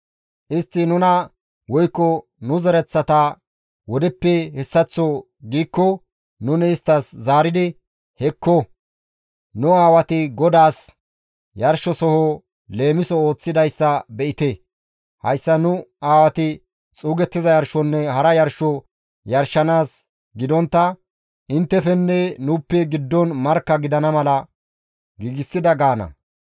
Istti nuna woykko nu zereththata wodeppe hessaththo giikko nuni isttas zaaridi, ‹Hekko! Nu aawati GODAASSI yarshizasoho leemiso ooththidayssa be7ite. Hayssa nu aawati xuugettiza yarshonne hara yarsho yarshanaas gidontta, inttefenne nuuppe giddon markka gidana mala giigsida› gaana.